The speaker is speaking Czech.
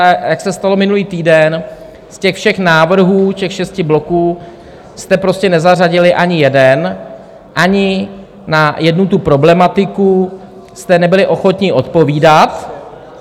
A jak se stalo minulý týden, z těch všech návrhů, těch šesti bloků, jste prostě nezařadili ani jeden, ani na jednu tu problematiku jste nebyli ochotni odpovídat.